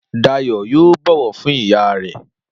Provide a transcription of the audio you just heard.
Dayọ̀ yóò bọ̀wọ̀ fún ìyá rẹ